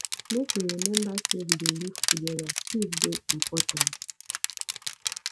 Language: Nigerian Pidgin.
make we rememba sey we dey live togeda peace dey important